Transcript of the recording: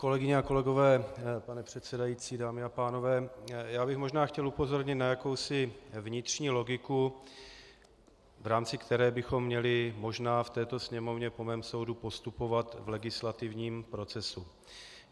Kolegyně a kolegové, pane předsedající, dámy a pánové, já bych možná chtěl upozornit na jakousi vnitřní logiku, v rámci které bychom měli možná v této Sněmovně po mém soudu postupovat v legislativním procesu.